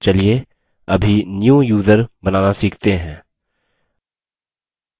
चलिए अभी new user बनाना सीखते हैं